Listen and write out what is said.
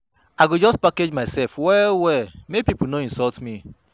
I go just package mysef well-well make pipo no insult me.